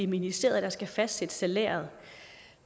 ministeriet der skal fastsætte salæret